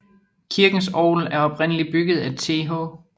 Kirkens orgel er oprindeligt bygget af TH